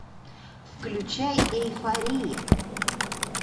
включай эйфория